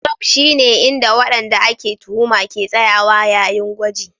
Dock shine inda wadanda ake tuhuma ke tsayawa yayin gwaji